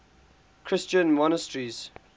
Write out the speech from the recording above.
christian monasteries